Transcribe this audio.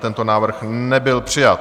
Tento návrh nebyl přijat.